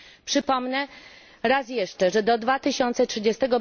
Przypomnę raz jeszcze, że do 2030